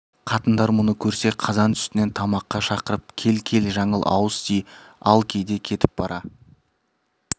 қатындар мұны көрсе қазан үстінен тамаққа шақырып кел кел жаңыл ауыз ти ал кейде кетіп бара